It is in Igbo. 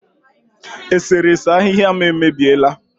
Eserese ahịhịa m emebiela